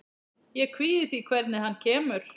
Ég kvíði því hvernig hann kemur.